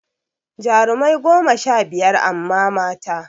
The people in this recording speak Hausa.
Jarumai goma sha biyar amma mata